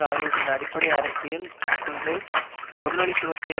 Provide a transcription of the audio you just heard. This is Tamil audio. ஆகியவற்றின் அடிப்படை அரசியல் கொள்கை முதலாளித்துவத்தை